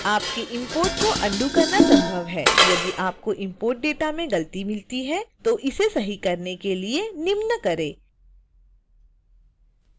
आपके इंपोर्ट को अंडो करना संभव है यदि आपको इंपोर्ट डेटा में गलती मिलती है तो इसे सही करने के लिए निम्न करें